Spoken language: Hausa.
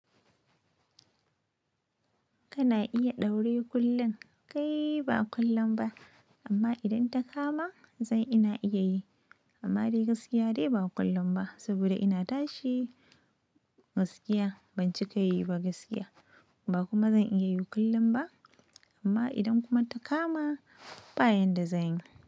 Kana iya ɗaure kullun? Kai ba kullun ba, amma idan ta ka ma zan ina iya yi, amma dai gaskiya dai ba kullun ba saboda ina tashi gaskiya ban cika yi ba gaskiya ba kuma zan iya yi kullun ba, amma idan kuma ta kama bayan da zan yi.